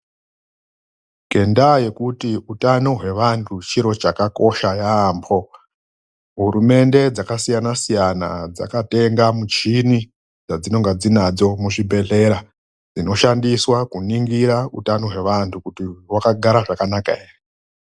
NGENDAA YEKUTI UTANO HWEAHU CHIRO CHAKAKOSHA HURUMENDE DZAKASIYANA SIYANA DZAKATENGA MUCHINI DZINOSHANDISWA KUNINGIRA KUTI UTANO HWEANHU HWAKAGARA ZVAKANAKA HERE